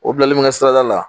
O bilalen bɛ n ka sirada la